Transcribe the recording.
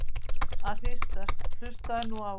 að hristast- hlustaðu nú á!